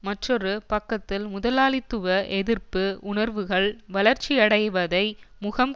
மற்றொரு பக்கத்தில் முதலாளித்துவ எதிர்ப்பு உணர்வுகள் வளர்ச்சி அடைவதை முகம்